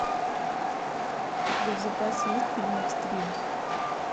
у тебя в запасе есть фильм экстрим